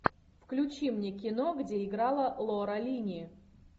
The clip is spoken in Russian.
включи мне кино где играла лора линни